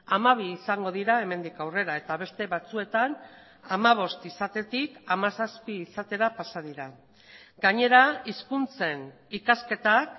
hamabi izango dira hemendik aurrera eta beste batzuetan hamabost izatetik hamazazpi izatera pasa dira gainera hizkuntzen ikasketak